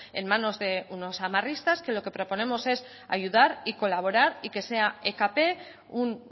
en manos de unos amarristas que lo que proponemos es ayudar y colaborar y que sea ekp un